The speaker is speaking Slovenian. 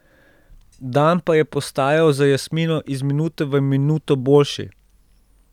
Dan pa je postajal za Jasmino iz minute v minuto boljši.